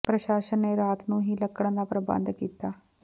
ਪ੍ਰਸ਼ਾਸਨ ਨੇ ਰਾਤ ਨੂੰ ਹੀ ਲੱਕੜਾਂ ਦਾ ਪ੍ਰਬੰਧ ਕੀਤਾ